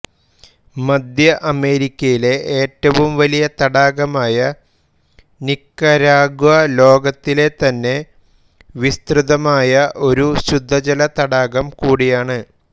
മധ്യഅമേരിക്കയിലെ ഏറ്റവും വലിയ തടാകമായ നിക്കരാഗ്വ ലോകത്തിലെതന്നെ വിസ്തൃതമായ ഒരു ശുദ്ധജല തടാകം കൂടിയാണ്